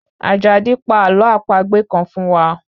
Àjàdí, pa àlọ́ àpagbè kan fún wa